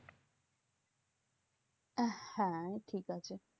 আহ হ্যাঁ ঠিকাছে।